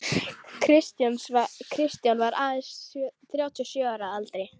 Kristján var aðeins þrjátíu og sjö ára að aldri.